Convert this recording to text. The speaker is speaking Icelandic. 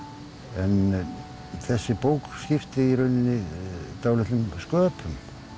en þessi bók skipti í rauninni dálitlum sköpum